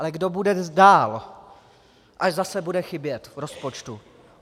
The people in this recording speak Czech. Ale kdo bude dál, až zase bude chybět v rozpočtu?